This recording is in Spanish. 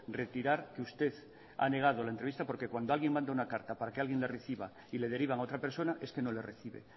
retirar que usted ha negado la entrevista porque cuando alguien manda una carta para que alguien la reciba y le derivan a otra persona es que no le recibe